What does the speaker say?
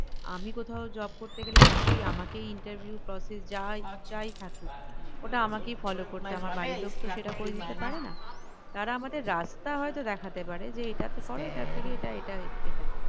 আমি কোথাও job করতে গেলে নিশ্চই আমাকেই interview process যা হয় যাই থাকুক ওটা আমাকেই follow করতে হবে আমার বাড়ির লোক তো সেটা করে দিতে পারেনা তারা আমাদের রাস্তা হয়তো দেখাতে পারে যে এটাতে করো এটার থেকে এটা এটা এটা